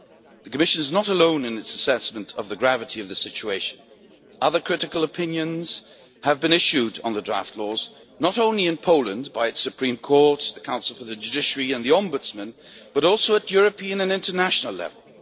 The Commission is not alone in its assessment of the gravity of the situation. Other critical opinions have been issued on the draft laws, not only in Poland by the Supreme Court, the Council for the Judiciary and the ombudsman, but also at European and international level.